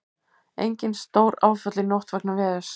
Engin stóráföll í nótt vegna veðurs